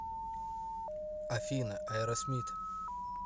афина аэросмит